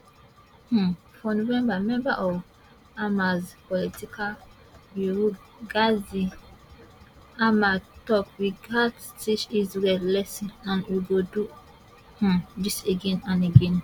um for november member of hamas political bureau ghazi hamad tok we gatz teach israel lesson and we go do um dis again and again